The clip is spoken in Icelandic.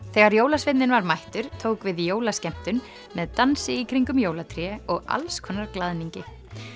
þegar jólasveinninn var mættur tók við jólaskemmtun með dansi í kringum jólatré og glaðningi